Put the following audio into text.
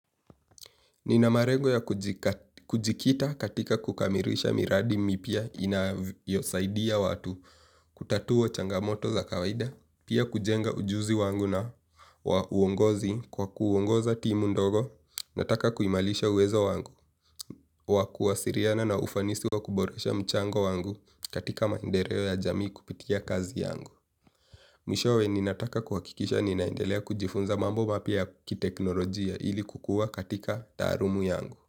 Nina malengo ya kujikita katika kukamilisha miradi mipya inayosaidia watu kutatua changamoto za kawaida, pia kujenga ujuzi wangu na wa uongozi kwa kuongoza timu ndogo, nataka kuimarisha uwezo wangu, wa kuwasiliana na ufanisi wa kuboresha mchango wangu katika maendeleo ya jamii kupitia kazi yangu. Mwishowe ninataka kuhakikisha ninaendelea kujifunza mambo mapya kiteknolojia ili kukua katika taalumu yangu.